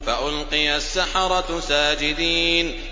فَأُلْقِيَ السَّحَرَةُ سَاجِدِينَ